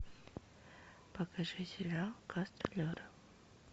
покажи сериал гастролеры